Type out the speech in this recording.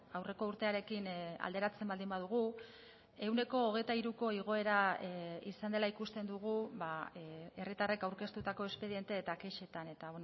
aurreko urtearekin alderatzen baldin badugu ehuneko hogeita hiruko igoera izan dela ikusten dugu herritarrek aurkeztutako espediente eta kexetan eta